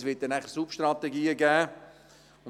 Es wird dann auch Substrategien geben.